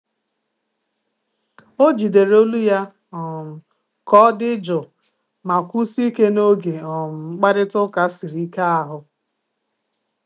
O jidere olu ya um ka ọ dị jụụ ma kwụsie ike n'oge um mkparịta ụka siri ike ahụ.